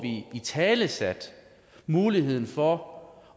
italesat muligheden for